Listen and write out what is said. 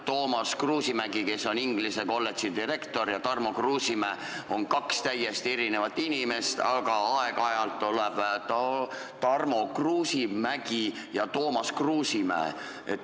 Toomas Kruusimägi, kes on Tallinna Inglise Kolledži direktor, ja Tarmo Kruusimäe on kaks täiesti erinevat inimest, aga aeg-ajalt öeldakse, et Tarmo Kruusimägi ja Toomas Kruusimäe.